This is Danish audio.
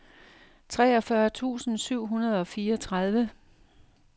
treogfyrre tusind syv hundrede og fireogtredive